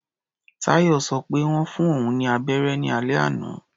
Táyọ̀ sọ pé wọ́n fún òun ní abẹ́rẹ́ ní alẹ́ àná.